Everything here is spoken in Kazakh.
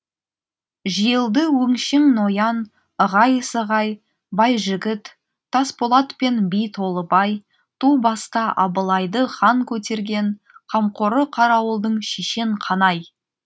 жиылды өңшең ноян ығай сығай байжігіт тасболат пен би толыбай ту баста абылайды хан көтерген қамқоры қарауылдың шешен қанай